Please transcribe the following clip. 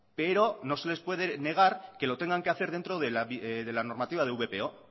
pero no se le puede negar que lo tengan que hacer dentro de la normativa de vpo